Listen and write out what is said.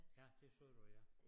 Ja det sagde du ja